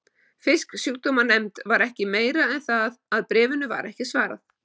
Fisksjúkdómanefnd var ekki meiri en það að bréfinu var ekki svarað.